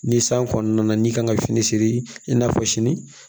Ni san kɔnɔna na n'i kan ka fini siri i n'a fɔ sini